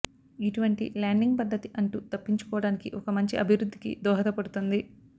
ఇటువంటి ల్యాండింగ్ పద్ధతి అంటు తప్పించుకోడానికి ఒక మంచి అభివృద్ధికి దోహదపడుతుంది